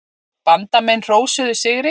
Bandamenn hrósuðu sigri.